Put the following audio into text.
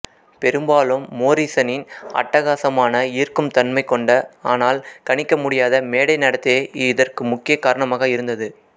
பெரும்பாலும் மோரிசனின் அட்டகாசமான ஈர்க்கும் தன்மை கொண்ட ஆனால் கணிக்கமுடியாத மேடை நடத்தையே இதற்கு முக்கிய காரணமாக இருந்தது